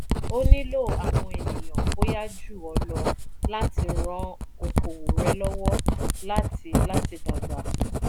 o nílò àwọn ènìyàn bóyá jù ọ́ lọ láti ran okòwò rẹ lọ́wọ́ láti láti dàgbà.